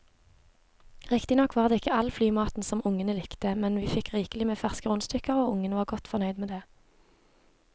Riktignok var det ikke all flymaten som ungene likte, men vi fikk rikelig med ferske rundstykker og ungene var godt fornøyd med det.